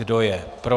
Kdo je pro?